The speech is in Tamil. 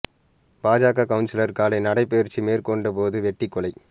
பாஜக கவுன்சிலர் காலை நடைபயிற்சி மேற்கொண்டபோது வெட்டிக் கொலை